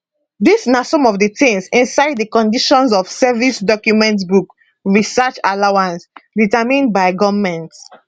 dis na some of di tins inside di conditions of service document book research allowance determined by goment